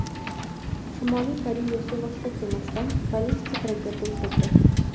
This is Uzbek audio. Shimoliy Koreya suvosti kemasidan ballistik raketa uchirdi.